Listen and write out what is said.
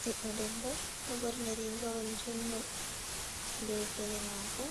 Ɓiɗɗo debbo, ɗo ɓorni riigawol juuɗngol, be gele maako,